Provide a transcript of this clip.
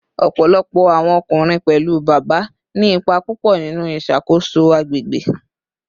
Ọpọlọpọ awọn ọkunrin, pẹlu Baba, ni ipa pupọ ninu iṣakoso agbegbe